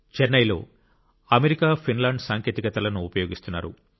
చెన్నైలో America Finland సాంకేతికతలను ఉపయోగిస్తున్నారు